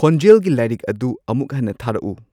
ꯈꯣꯟꯖꯦꯜꯒꯤ ꯂꯥꯏꯔꯤꯛ ꯑꯗꯨ ꯑꯃꯨꯛ ꯍꯟꯅ ꯊꯥꯔꯛꯎ